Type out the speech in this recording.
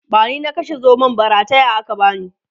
bani na kashe zomon ba rataya aka bani